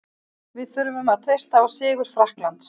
Við þurfum að treysta á sigur Frakklands.